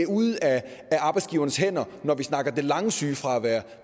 ude af arbejdsgiverens hænder når vi snakker det lange sygefravær